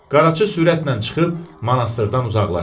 Qaraçı sürətlə çıxıb monastırdan uzaqlaşdı.